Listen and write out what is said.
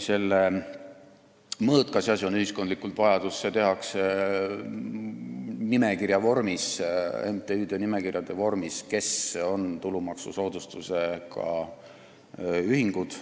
Selle mõõt, kas tegu on ühiskondliku vajadusega, on ikkagi MTÜ-de nimekiri, kus on kirjas tulumaksusoodustusega ühingud.